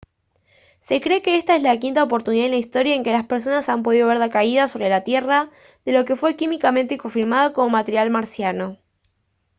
se cree que esta es la quinta oportunidad en la historia en que las personas han podido ver la caída sobre la tierra de lo que fue químicamente confirmado como material marciano